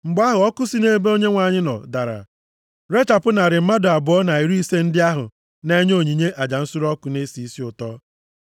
Mgbe ahụ, ọkụ si nʼebe Onyenwe anyị nọ dara, rechapụ narị mmadụ abụọ na iri ise ndị ahụ na-enye onyinye aja nsure ọkụ na-esi isi ụtọ.